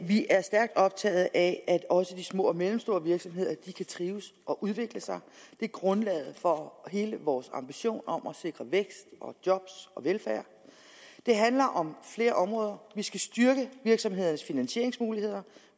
vi er stærkt optaget af at også de små og mellemstore virksomheder kan trives og udvikle sig det er grundlaget for hele vores ambition om at sikre vækst og job og velfærd det handler om flere områder vi skal styrke virksomhedernes finansieringsmuligheder